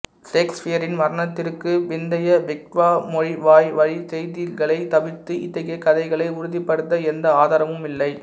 சேக்சுபியரின் மரணத்திற்கு பிந்தைய விக்ட்வாய்மொழிவாய்வழிச் செய்திகளைத் தவிர்த்து இத்தகைய கதைகளை உறுதிப்படுத்த எந்த ஆதாரமும் இல்லை